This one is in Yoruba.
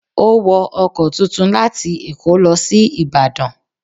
O wọ ọkọ̀ tuntun láti èkó lọ sí Ìbàdàn